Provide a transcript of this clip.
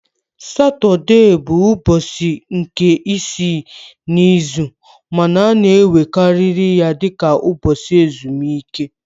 Satọde bụ ụbọchị nke isii n'izu ma a na-ewerekarị ya dị ka ụbọchị ezumike